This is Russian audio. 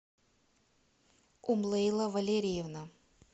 умлейла валерьевна